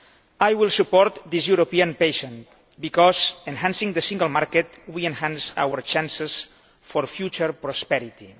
I will support this European patent because by enhancing the single market we enhance our chances of future prosperity.